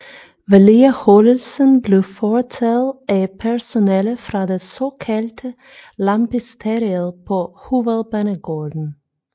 Vedligeholdelsen blev foretaget af personale fra det såkaldte Lampisteriet på Hovedbanegården